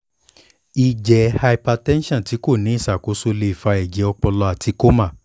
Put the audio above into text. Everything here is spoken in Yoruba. ijẹ hypertension ti ko ni iṣakoso le fa ẹjẹ ọpọlọ ati coma